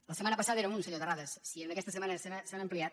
la setma·na passada era un senyor terrades si aquesta setmana s’han ampliat